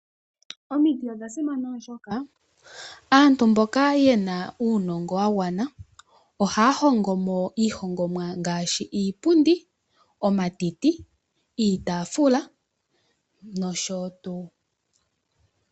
Omiti odha simana oshoka aantu mboka ye na uunongo wa gwana ohaya hongomo iihongomwa ngaashi : iipundi, omatiti, iitaafula nosho tuu.